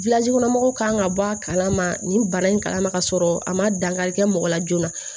kɔnɔ mɔgɔw kan ka bɔ a kalama nin bara in kala ma ka sɔrɔ a ma dankari kɛ mɔgɔ la joona